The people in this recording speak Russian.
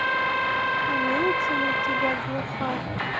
имеется ли у тебя глухарь